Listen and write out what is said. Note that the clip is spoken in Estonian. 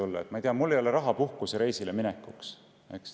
Näiteks, et mul ei ole raha puhkusereisile minekuks.